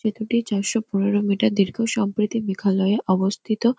সেতুটি চারশো পনেরো মিটার দীর্ঘ। সম্প্রীতি মেঘালয়ে অবস্থিত।